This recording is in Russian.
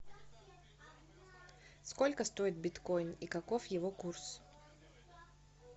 сколько стоит биткоин и каков его курс